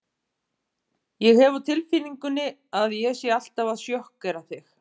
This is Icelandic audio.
Þingeyinga síðar fyrir framkomu þeirra.